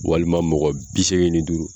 Walima mɔgɔ bisegin nin duuru